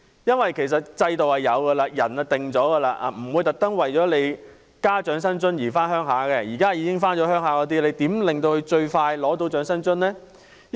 因為制度已有，長者也決定好了，不會因為加入了長生津而回鄉，反而是你如何使在內地的香港長者能盡快取得長生津。